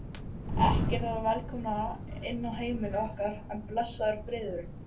Ekkert var velkomnara inn á heimili okkar en blessaður friðurinn.